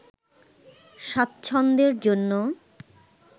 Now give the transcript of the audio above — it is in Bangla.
স্বাচ্ছন্দ্যের জন্য